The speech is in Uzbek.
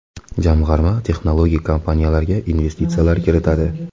Jamg‘arma texnologik kompaniyalarga investitsiyalar kiritadi.